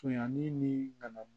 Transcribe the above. Conyanli ni bana